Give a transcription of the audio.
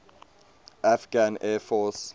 afghan air force